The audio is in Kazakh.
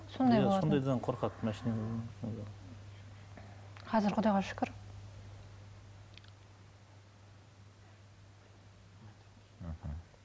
сондай сондайдан қорқады қазір құдайға шүкір мхм